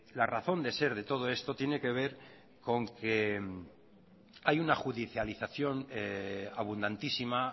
la razón de ser de todo esto tiene que ver con que hay una judialización abundantísima